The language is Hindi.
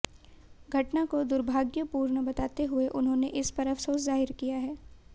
घटना को दुर्भाग्यपूर्ण बताते हुए उन्होंने इस पर अफसोस जाहिर किया है